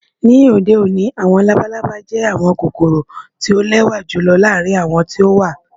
Ni ode oni, awọn labalaba jẹ awọn kokoro ti o lẹwa julọ laarin awọn ti o wa.